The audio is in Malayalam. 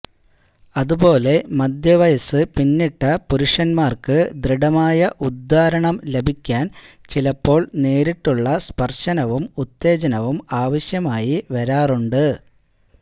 അതുപോലെ മധ്യവയസ് പിന്നിട്ട പുരുഷന്മാർക്ക് ദൃഢമായ ഉദ്ധാരണം ലഭിക്കാൻ ചിലപ്പോൾ നേരിട്ടുള്ള സ്പർശനവും ഉത്തേജനവും ആവശ്യമായി വരാറുണ്ട്